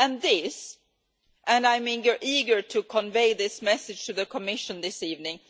This and I am eager to convey this message to the Commission this evening